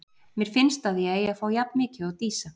Mér finnst að ég eigi að fá jafn mikið og Dísa.